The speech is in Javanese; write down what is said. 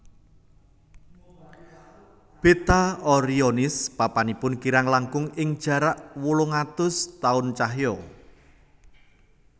Beta Orionis papanipun kirang langkung ing jarak wolung atus taun cahya